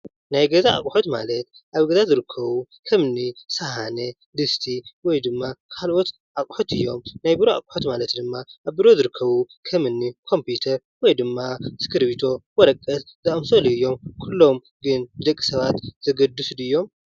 ናይ ገዛእ ኣቑሑት ማለት ኣብ ገዛ ዝርከቡ ከምኒ ሳሃነ ፣ድስቲ ወይ ድማ ካልኦት ኣቑሑት እዮም። ናይ ቢሮ ኣቑሑት ማለት ድማ ኣብ ቢሮ ዝርከቡ ከምኒ ኮምፕዩተር ወይ ድማ እስክርቢቶ ፣ወረቀት ዝኣምሰሉ እዮም። ኩሎም ግን ን ደቂ ሰባት ዘገድሱ ድዮም ?